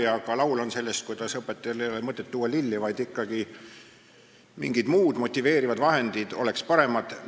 Ja ka laul on sellest, et õpetajale ei ole mõtet tuua lilli, mingid muud motiveerivad vahendid oleks paremad.